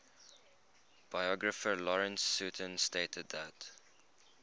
biographer lawrence sutin stated that